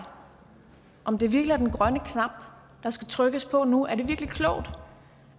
om det virkelig er den grønne knap der skal trykkes på nu er det virkelig klogt